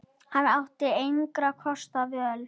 Hann átti engra kosta völ.